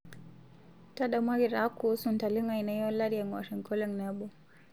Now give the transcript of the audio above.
ntadamuaki taa kuusu ntalengo aainei olari engor enkolong nabo